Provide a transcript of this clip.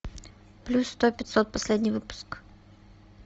плюс сто пятьсот последний выпуск